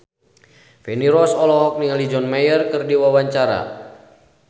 Feni Rose olohok ningali John Mayer keur diwawancara